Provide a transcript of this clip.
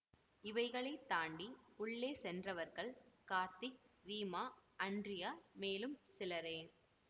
இவைகளை தாண்டி உள்ளே சென்றவர்கள் கார்த்திக் ரீமா அன்ட்ரியா மேலும் சிலரே